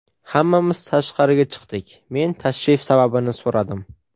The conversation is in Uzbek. Hammamiz tashqariga chiqdik, men tashrif sababini so‘radim.